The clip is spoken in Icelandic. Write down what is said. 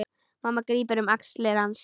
Mamma grípur um axlir hans.